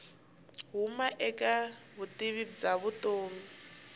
huma eka vutivi bya vutomi